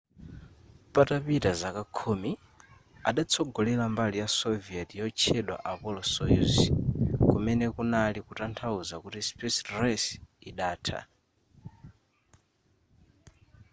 patapita zaka khumi adatsogolera mbali ya soviet yotchedwa apollo-soyuz kumene kunali kutanthauza kuti space race idatha